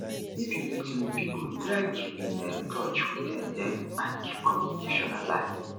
if you meet new pipo try keep in um touch with um dem and keep communication alive